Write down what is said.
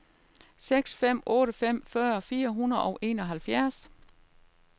seks fem otte fem fyrre fire hundrede og enoghalvfjerds